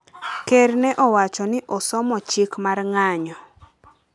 Ker ne owacho ni osomo chik mar ng’anyo